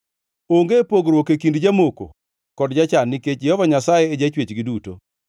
Onge pogruok e kind jamoko kod jachan: Nikech Jehova Nyasaye e Jachwechgi duto.